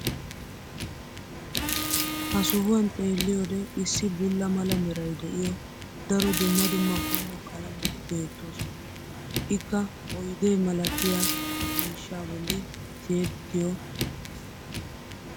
ha sohuwan xeelliyoode issi bulla mala meray de'iyo daro dumma dumma qommo qalametti beetoosona. ikka oydde malatiyaa miishshaa boli tiyettio uttiis.